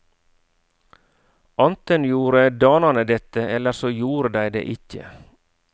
Anten gjorde danane dette, eller så gjorde dei det ikkje.